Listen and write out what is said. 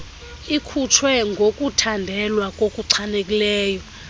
ikhutshwe ngokuthandelwa okuchanekileyo